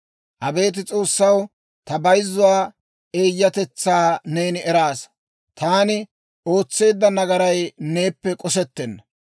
Abeet S'oossaw, ta bayzzuwaa eeyyatetsaa neeni eraasa; taani ootseedda nagaray neeppe k'osettenna.